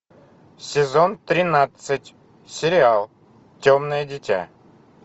сезон тринадцать сериал темное дитя